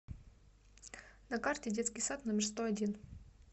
на карте детский сад номер сто один